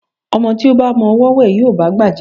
Ọmọ tí ó ba mọ ọwọ́ wẹ̀, yóò bá'gbà jẹun.